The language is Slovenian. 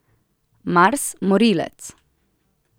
Mars, morilec.